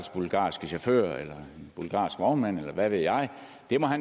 bulgarske chauffør eller vognmand eller hvad ved jeg da